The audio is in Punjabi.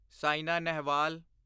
ਸੈਨਾ ਨੇਹਵਾਲ